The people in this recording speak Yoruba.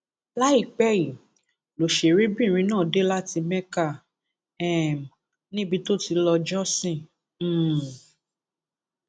láìpẹ yìí lọsẹrẹbìnrin náà dé láti mékà um níbi tó ti lọọ jọsìn um